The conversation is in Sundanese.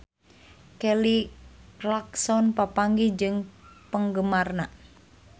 Kelly Clarkson papanggih jeung penggemarna